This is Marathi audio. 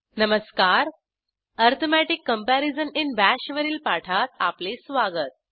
नमस्कारArithmetic कंपॅरिझन इन बाश वरील पाठात आपले स्वागत